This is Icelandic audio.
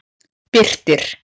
Birtir